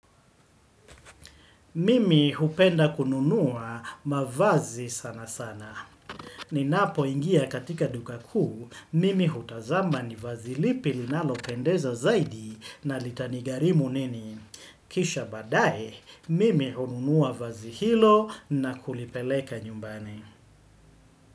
Mimi hupenda kununua mavazi sana sana. Ninapoingia katika duka kuu, Mimi hutazama ni vazi lipi linalopendeza zaidi na litanigharimu nini. Kisha baadaye, Mimi hununua vazi hilo na kulipeleka nyumbani.